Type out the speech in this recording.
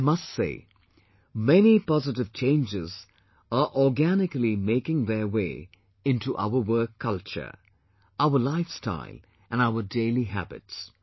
I must say, many positive changes are organically making their way into our work culture, our lifestyle and our daily habits